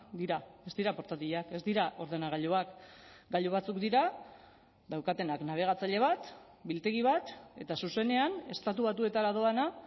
dira ez dira portatilak ez dira ordenagailuak gailu batzuk dira daukatenak nabigatzaile bat biltegi bat eta zuzenean estatu batuetara doana